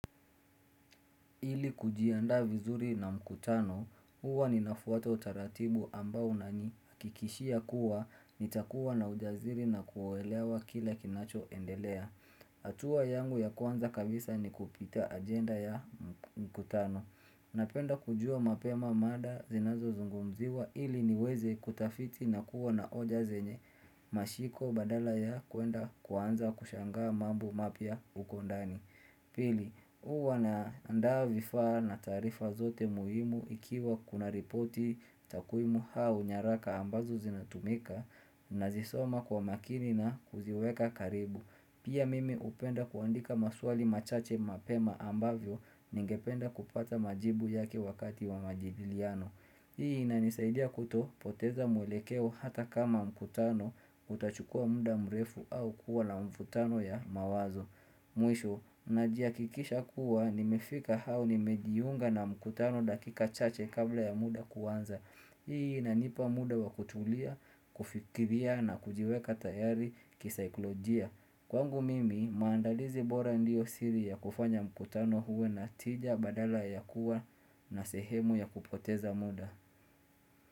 Ili kujianda vizuri na mkutano, huwa ninafuata utaratibu ambao nani, kikishia kuwa, nitakuwa na ujaziri na kuwaelewa kila kinacho endelea. Hatua yangu ya kwanza kabisa ni kupita agenda ya mkutano. Napenda kujua mapema mada zinazo zungumziwa ili niweze kutafiti na kuwa na oja zenye mashiko badala ya kuenda kuwanza kushangaa mambo mapia uko ndani. Pili, uwa na andaa vifaa na tarifa zote muhimu ikiwa kuna ripoti takuimu hau nyaraka ambazo zinatumika na zisoma kwa makini na kuziweka karibu. Pia mimi hupenda kuandika maswali machache mapema ambavyo ningependa kupata majibu yake wakati wa majidiliano. Hii inanisaidia kuto poteza mwelekeo hata kama mkutano utachukua muda mrefu au kuwa la mfutano ya mawazo. Mwisho, na jiakikisha kuwa nimefika hau nimejiunga na mkutano dakika chache kabla ya muda kuwanza. Hii inanipa muda wa kutulia, kufikiria na kujiweka tayari kisikolojia. Kwangu mimi maandalizi bora ndio siri ya kufanya mkutano huwe na tija badala ya kuwa na sehemu ya kupoteza muda.